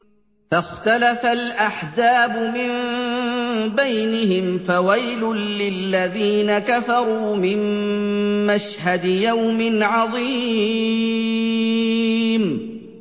فَاخْتَلَفَ الْأَحْزَابُ مِن بَيْنِهِمْ ۖ فَوَيْلٌ لِّلَّذِينَ كَفَرُوا مِن مَّشْهَدِ يَوْمٍ عَظِيمٍ